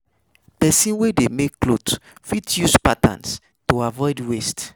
Persin wey de make clothes fit use patterns to avoid waste